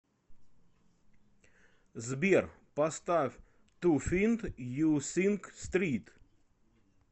сбер поставь ту финд ю синг стрит